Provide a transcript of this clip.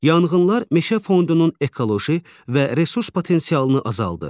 Yanğınlar meşə fondunun ekoloji və resurs potensialını azaldır.